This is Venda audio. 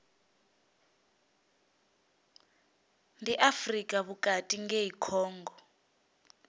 ndi afrika vhukati ngei congo